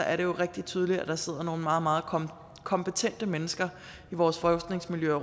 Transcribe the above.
er det jo rigtig tydeligt at der sidder nogle meget meget kompetente mennesker i vores forskningsmiljøer